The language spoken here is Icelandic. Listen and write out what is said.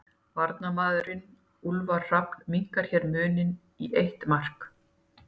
Varamaðurinn Úlfar Hrafn minnkar hér muninn í eitt mark.